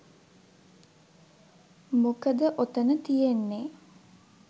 මොකද ඔතන තියෙන්නෙ